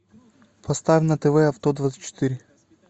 поставь на тв авто двадцать четыре